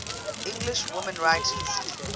english women writers